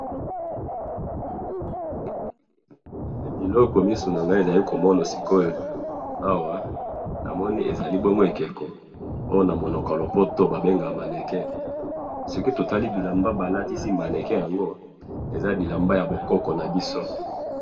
Biloko miso nangayi ezali komona sikoyo awa, namoni ezalibongo ekeko, oyo babengaka namonoko yalopoto babengaka mannequin, soki totali bilamba balatisi mannequin yango, eza bilamba yabokoko nabiso